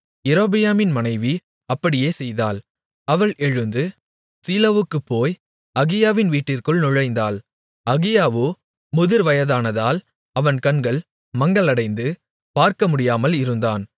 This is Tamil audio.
யெரொபெயாமின் மனைவி அப்படியே செய்தாள் அவள் எழுந்து சீலோவுக்குப் போய் அகியாவின் வீட்டிற்குள் நுழைந்தாள் அகியாவோ முதிர் வயதானதால் அவன் கண்கள் மங்கலடைந்து பார்க்கமுடியாமல் இருந்தான்